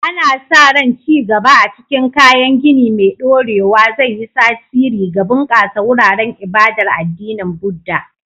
Ana sa ran ci gaba a cikin kayan gini mai ɗorewa zai yi tasiri ga bunƙasa wuraren ibadar addinin Buddah.